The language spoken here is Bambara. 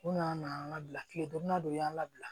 U nana n'an ka bila tile donna dɔ u y'an labila